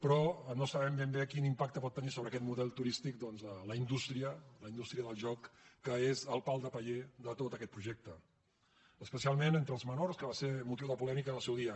però no sabem ben bé quin impacte que pot tenir sobre aquest model turístic la indústria del joc que és el pal de paller de tot aquest projecte especialment entre els menors que va ser motiu de polèmica en el seu dia